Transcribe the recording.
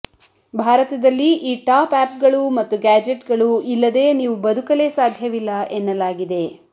ಭಾರತದಲ್ಲಿ ಈ top app ಗಳು ಮತ್ತು ಗ್ಯಾಜೆಟ್ ಗಳು ಇಲ್ಲದೇ ನೀವು ಬದುಕಲೇ ಸಾಧ್ಯವಿಲ್ಲ ಎನ್ನಲಾಗಿದೆ